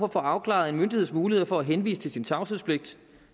at få afklaret en myndigheds muligheder for at henvise til sin tavshedspligt